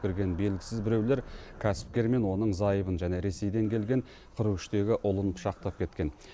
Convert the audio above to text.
кірген белгісіз біреулер кәсіпкер мен оның зайыбын және ресейден келген қырық үштегі ұлын пышақтап кеткен